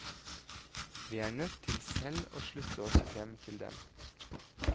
Vi er nødt til selv å slutte oss frem til dem.